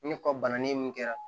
Ni ka bana ye mun kɛra